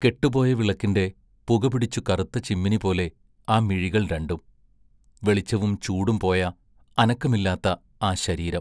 കെട്ടുപോയ വിളക്കിന്റെ പുകപിടിച്ചു കറുത്ത ചിമ്മിനിപോലെ ആ മിഴികൾ രണ്ടും വെളിച്ചവും ചൂടും പോയ അനക്കമില്ലാത്ത ആ ശരീരം!